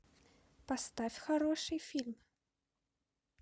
поставь хороший фильм